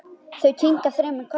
Þau kinka þremur kollum.